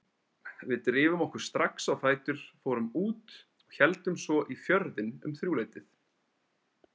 Við drifum okkur strax á fætur, fórum út og héldum svo í Fjörðinn um þrjúleytið.